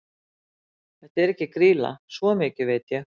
Þetta er ekki Grýla, svo mikið veit ég.